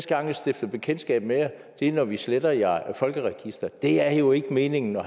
gang vi stifter bekendtskab med jer er når vi sletter jer folkeregisteret det er jo ikke meningen at